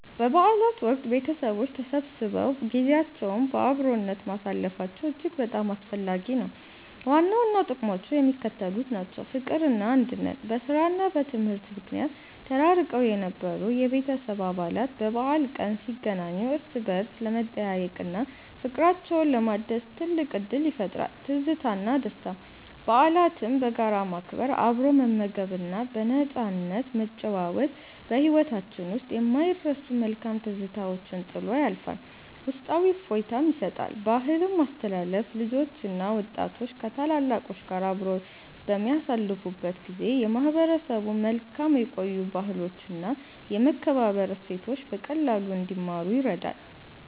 በበዓላት ወቅት ቤተሰቦች ተሰብስበው ጊዜያቸውን በአብሮነት ማሳለፋቸው እጅግ በጣም አስፈላጊ ነው። ዋና ዋና ጥቅሞቹ የሚከተሉት ናቸው፦ ፍቅርና አንድነት፦ በሥራና በትምህርት ምክንያት ተራርቀው የነበሩ የቤተሰብ አባላት በበዓል ቀን ሲገናኙ እርስ በርስ ለመጠያየቅና ፍቅራቸውን ለማደስ ትልቅ ዕድል ይፈጥራል። ትዝታና ደስታ፦ በዓላትን በጋራ ማክበር፣ አብሮ መመገብና በነፃነት መጨዋወት በሕይወታችን ውስጥ የማይረሱ መልካም ትዝታዎችን ጥሎ ያልፋል፤ ውስጣዊ እፎይታም ይሰጣል። ባህልን ማስተላለፍ፦ ልጆችና ወጣቶች ከታላላቆች ጋር አብረው በሚያሳልፉበት ጊዜ የማህበረሰቡን መልካም የቆዩ ባህሎችና የመከባበር እሴቶች በቀላሉ እንዲማሩ ይረዳል።